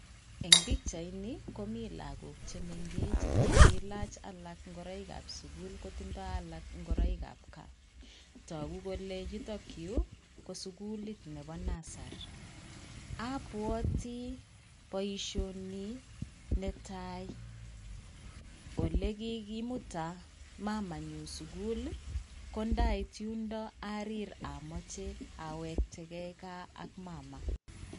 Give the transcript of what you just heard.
Eng pikchaini komi lagook che mengech che kiilach alak ngoroikab sukul kotindoi alak ngoroikab gaa, toku kole yutokyu ko sukulit nebo nursery, abwati boisioni netai olekikimuta mamanyu sukul ii, ko ndait yundo arir amache awekteke gaa ak mama.